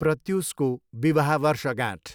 प्रत्युसको विवाह वर्षगाँठ।